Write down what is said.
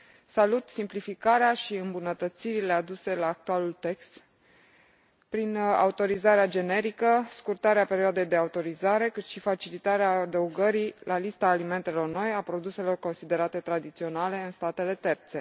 Salut simplificarea și îmbunătățirile aduse actualului text, prin autorizarea generică, scurtarea perioadei de autorizare cât și facilitarea adăugării la lista alimentelor noi a produselor considerate tradiționale în statele terțe.